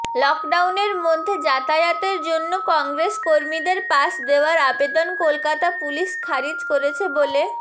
লকডাউনের মধ্যে যাতায়াতের জন্য কংগ্রেস কর্মীদের পাস দেওয়ার আবেদন কলকাতা পুলিশ খারিজ করেছে বলে